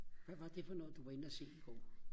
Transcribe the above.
hvad var det for noget du var inde at se i går?